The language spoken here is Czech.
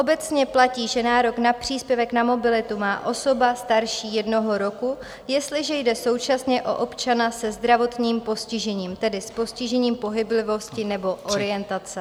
Obecně platí, že nárok na příspěvek na mobilitu má osoba starší jednoho roku, jestliže jde současně o občana se zdravotním postižením, tedy s postižením pohyblivosti nebo orientace.